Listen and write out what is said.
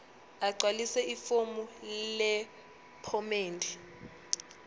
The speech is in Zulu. agcwalise ifomu lephomedi